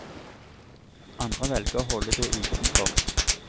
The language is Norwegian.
Andre velger å holde det utenfor.